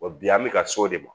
Wa bi an bɛ ka s'o de ma